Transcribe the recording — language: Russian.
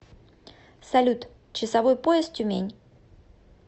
салют часовой пояс тюмень